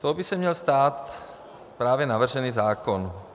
Tou by se měl stát právě navržený zákon.